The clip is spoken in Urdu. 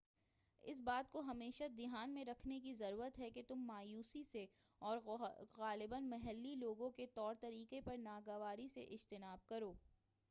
اس بات کو ہمیشہ دھیان میں رکھنے کی ضرورت ہے کہ تم مایوسی سے اور غالباً محلّی لوگوں کے طور طریقوں پر ناگواری سے اجتناب کرو